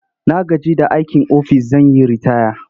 Na gaji da aikin ofis zan yi ritaya.